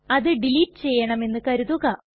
അത് ഡിലീറ്റ് ചെയ്യണമെന്നു കരുതുക